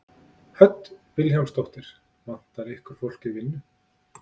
Hödd Vilhjálmsdóttir: Vantar ykkur fólk í vinnu?